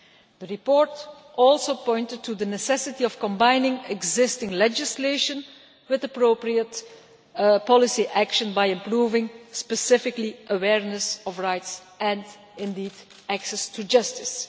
The report also pointed to the necessity of combining existing legislation with appropriate policy action by improving, specifically, awareness of rights, and indeed access to justice.